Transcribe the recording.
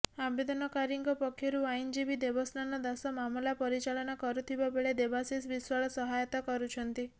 ଆବେଦନକାରୀଙ୍କ ପକ୍ଷରୁ ଆଇନଜୀବୀ ଦେବସ୍ନାନ ଦାସ ମାମଲା ପରିଚାଳନା କରୁଥିବା ବେଳେ ଦେବାଶିଷ ବିଶ୍ବାଳ ସହାୟତା କରୁଛନ୍ତି